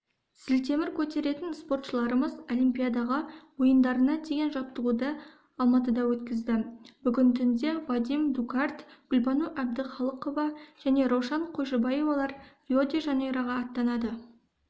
зілтемір көтеретін спортшыларымыз олипиадаға ойындарына деген жаттығуды алматыда өткізді бүгін түнде вадим дукарт гүлбану әбдіхалықова және раушан қойшыбаевалар рио-де-жанейроға аттанады